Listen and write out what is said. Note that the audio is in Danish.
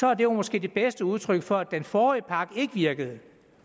er det måske det bedste udtryk for at den forrige pakke ikke virkede